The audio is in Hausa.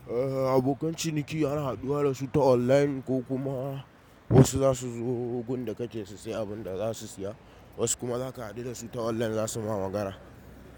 Eh, abokan ciniki ana haɗuwa da su ta online ko kuma wasu zasu zo wurin da kake sai abun da zasu siya, wasu kuma zaka haɗu da su ta online zasu ma magana.